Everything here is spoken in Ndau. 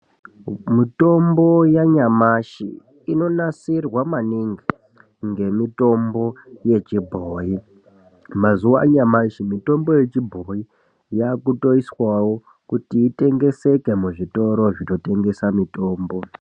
Mitombo yanyamashi inonasirwa maningi ngemitombo yechibhoyi. Mazuwa anyamashi mitombo yechibhoyi yakutoiswawo kuti itengeseke muzvitoro zvinotengesa mitombo.